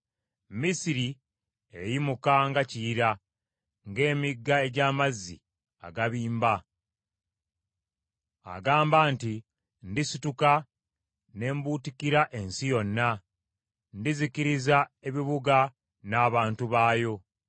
Misiri eyimuka nga Kiyira, ng’emigga egy’amazzi agabimba. Agamba nti, ‘Ndisituka ne mbuutikira ensi yonna. Ndizikiriza ebibuga n’abantu baabyo.’